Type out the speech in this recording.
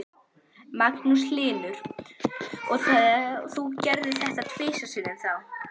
Magnús Hlynur: Og þú gerðir þetta tvisvar sinnum þá?